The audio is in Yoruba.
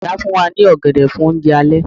Ìyá fún wa ní ọ̀gẹ̀dẹ̀ fún oúnjẹ alẹ́